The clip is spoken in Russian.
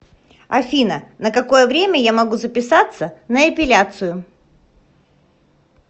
афина на какое время я могу записаться на эпиляцию